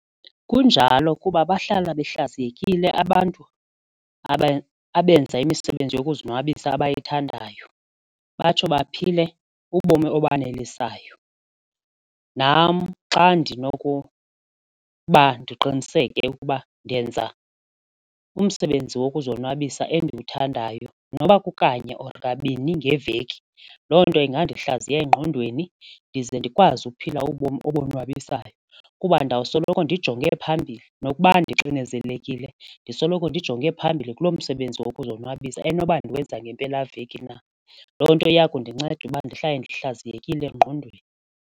Kunjalo kuba bahlala behlaziyekile abantu abenza imisebenzi yokuzonwabisa abayithandayo batsho baphile ubomi obanelisayo. Nam xa ndinokuba ndiqiniseke ukuba ndenza umsebenzi wokuzonwabisa endiwuthandayo noba kukanye or kabini ngeveki loo nto ingandihlaziya engqondweni ndize ndikwazi uphila ubomi obonwabisayo kuba ndawusoloko ndijonge phambili nokuba ndixinizekile ndisoloko ndijonge phambili kulo msebenzi wokuzonwabisa enoba ndiwenza ngempelaveki na. Loo nto iya kundinceda uba ndihlale ndihlaziyekile engqondweni.